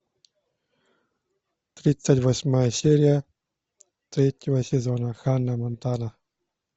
тридцать восьмая серия третьего сезона ханна монтана